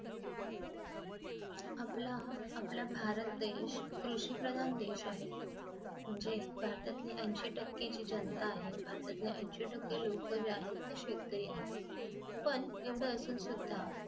आपला आपला भारत देश कृषी प्रधान देश आहे म्हणजे भारतातील ऐंशी टक्के जी जनता आहे भारतातील ऐंशी टक्के लोक जे आहेत ते शेतकरी आहेत येवढं असुन सुद्धा